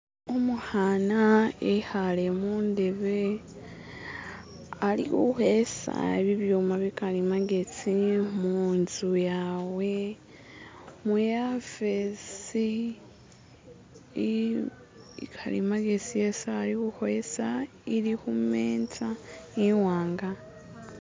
Umukhana ekhale mundebe ali khukhesa bibyuma bikali magezi munzu yawe muyafesi ikali magezi esi ali khukhwesa ili khu meza iwanga.